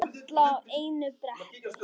Alla á einu bretti.